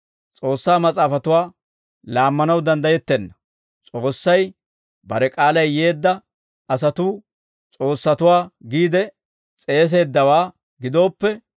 S'oossaa Mas'aafatuwaa laammanaw danddayettenna; S'oossay bare k'aalay yeedda asatuu, ‹s'oossatuwaa› giide s'eeseeddawaa gidooppe,